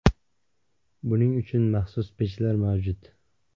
Buning uchun maxsus pechlar mavjud.